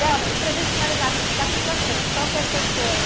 Delba, e para a gente finalizar assim, daqui para frente, qual que é o seu sonho?